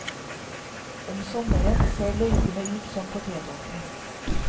Om sommeren ser løypene ut som potetåkre.